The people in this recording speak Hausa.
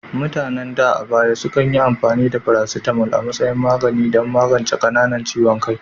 Mutanen da a baya sukan yi amfani da paracetamol a matsayin magani don magance qananan ciwon kai,